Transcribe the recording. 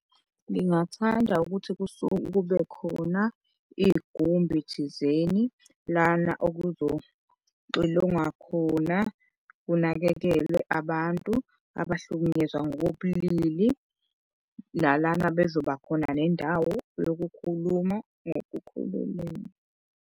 Ngingathanda ukuthi kusuke kube khona igumbi thizeni lana okuxilongwa khona kunakekelwe abantu abahlukunyezwa ngokobulili nalana bezoba khona nendawo yokukhuluma ngokukhululeka.